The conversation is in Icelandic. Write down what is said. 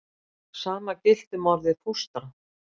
Sama gilti um orðið fóstra.